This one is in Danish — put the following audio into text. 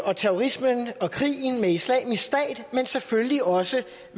og terrorismen og krigen med islamisk stat men selvfølgelig også